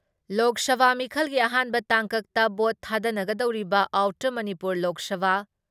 ꯂꯣꯛ ꯁꯚꯥ ꯃꯤꯈꯜꯒꯤ ꯑꯍꯥꯟꯕ ꯇꯥꯡꯀꯛꯇ ꯚꯣꯠ ꯊꯥꯗꯅꯒꯗꯧꯔꯤꯕ ꯑꯥꯎꯇꯔ ꯃꯅꯤꯄꯨꯔ ꯂꯣꯛ ꯁꯚꯥ